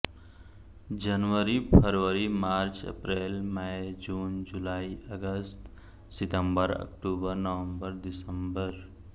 जनवरी फ़रवरी मार्च अप्रैल मै जून जुलाई अगस्त सितंबर अक्टूबर नवंबर दिसंबर